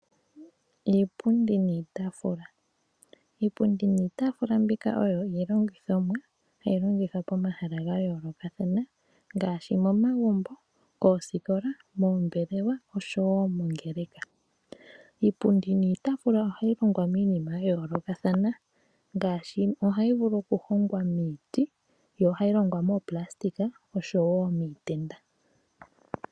Iipundi niitaafula Iipundi niitaafula mbika oyo iilongithomwa hayi longithwa pomahala ga yoolokathana ngaashi momagumbo, moosikola, moombelewa oshowo mongeleka. Iipundi niitaafula ohayi longwa miinima ya yoolokathana ngaashi ohayi vulu okuhongwa miiti, ohayi longwa moopulasitika noshowo miitenda.